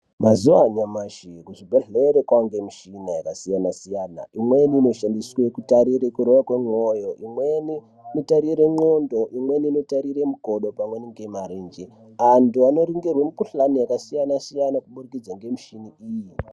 Mazuwa anyamashi kuzvibhedhleri kwaane mishina yakasiyana siyana imweni inoshandiswe kutarire kurova kwemwoyo imweni inotarire ndxondo imweni inotarire mukodo pamweni ngemarenje antu anoringirwe mukhuhlani yakasiyana siyana kubudikidza ngemushini iyi.